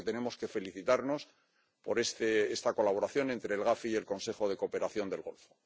Creo que tenemos que felicitarnos por esta colaboración entre el GAFI y el Consejo de Cooperación del Golfo.